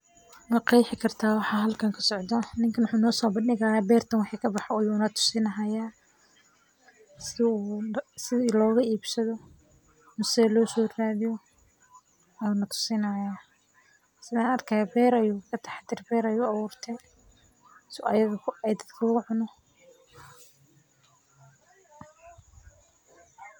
Maqexi kartaa waxaa halkan ka socdo ninkan wuxu nosobandihi haya wixi bertan kabaxayo sithan arki hayo beer ayu aburte si ee dadka u cunan sas waye maaragte.